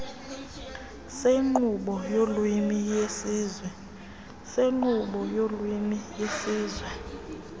senkqubo yolwimi yesizwe